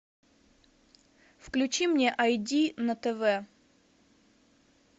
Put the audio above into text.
включи мне ай ди на тв